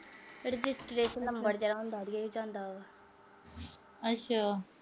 ਫਿਰ ਅੱਛਾ।